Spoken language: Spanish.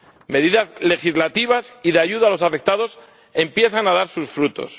Medidas legislativas y de ayuda a los afectados empiezan a dar sus frutos.